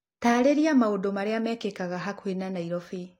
taarĩria maũndũ marĩa mekĩkaga hakuhĩ na Nairobi